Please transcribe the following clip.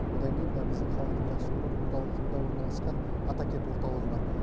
одан кейін мына біздің халықтың жақсы көретін орталығында орналасқан атакент орталығы бар